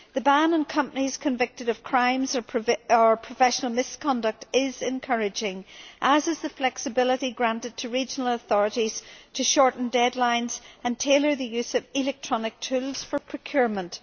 The ban on companies convicted of crimes or professional misconduct is encouraging, as is the flexibility granted to regional authorities to shorten deadlines and tailor the use of electronic tools for procurement.